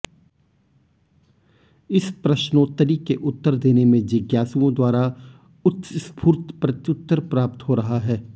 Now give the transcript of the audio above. इस प्रश्नोत्तरी के उत्तर देने में जिज्ञासुओं द्वारा उत्स्फूर्त प्रत्युत्तर प्राप्त हो रहा है